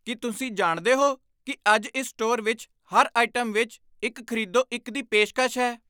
ਕੀ ਤੁਸੀਂ ਜਾਣਦੇ ਹੋ ਕਿ ਅੱਜ ਇਸ ਸਟੋਰ ਵਿੱਚ ਹਰ ਆਈਟਮ ਵਿੱਚ ਇੱਕ ਖ਼ਰੀਦੋ ਇੱਕ ਦੀ ਪੇਸ਼ਕਸ਼ ਹੈ?